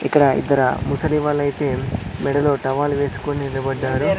ఇక్కడ ఇద్దర ముసలి వాళ్ళయితే మెడలో టవల్ వేసుకుని నిలబడ్డారు.